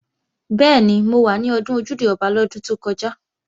Bẹ́ẹ̀ni, mo wà ní Ọdún Ojúde-Ọba lọ́dún tó kọjá